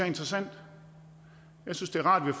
interessant jeg synes det er rart at vi